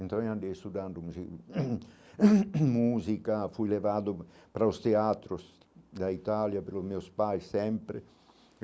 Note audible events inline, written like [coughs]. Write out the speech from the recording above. Então eu andei estudando músi [coughs] música, fui levado para os teatros da Itália pelo meus pais sempre.